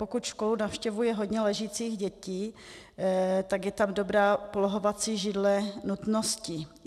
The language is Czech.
Pokud školu navštěvuje hodně ležících dětí, tak je tam dobrá polohovací židle nutností.